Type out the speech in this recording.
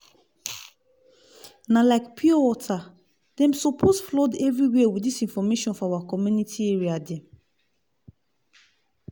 na like pure water - dem suppose flood everywhere with dis information for our community area dem